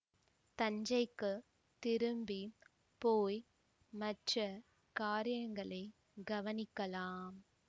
தஞ்சைக்குத் திரும்பி போய் மற்ற காரியங்களைக் கவனிக்கலாம்